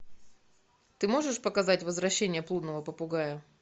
ты можешь показать возвращение блудного попугая